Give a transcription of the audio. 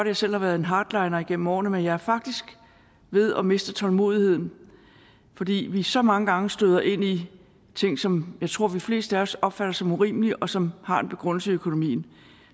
jeg selv har været en hardliner igennem årene men jeg er faktisk ved at miste tålmodigheden fordi vi så mange gange støder ind i ting som jeg tror de fleste af os opfatter som urimelige og som har en begrundelse i økonomien